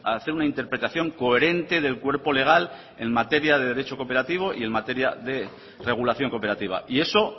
hacer una interpretación coherente del cuerpo legal en materia de derecho cooperativo y en materia de regulación cooperativa y eso